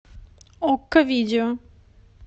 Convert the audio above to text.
окко видео